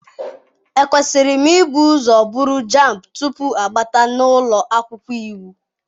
Ekwesịrị m ibu ụzọ buru JAMB tupu abata m n'ụlọ akwụkwọ iwu?